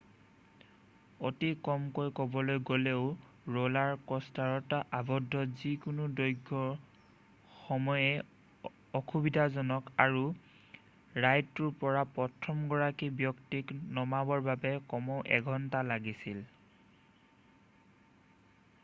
অতি কমকৈ ক'বলৈ গ'লেও ৰ'লাৰ কষ্টাৰত আৱদ্ধ যিকোনো দৈৰ্ঘ্যৰ সময়েই অসুবিধাজনক আৰু ৰাইডটোৰ পৰা প্ৰথমগৰাকী ব্যক্তিক নমাবৰ বাবে কমেও এঘন্টা লাগিছিল